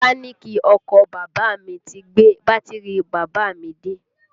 Mẹ́káníìkì ọkọ bàbá à mi ti gbé bátìrì bàbá à mi dé